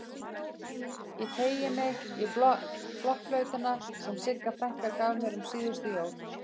Ég teygi mig í blokkflautuna sem Sigga frænka gaf mér um síðustu jól.